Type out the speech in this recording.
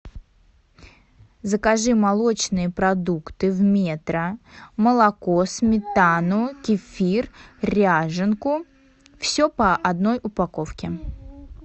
закажи молочные продукты в метро молоко сметану кефир ряженку все по одной упаковке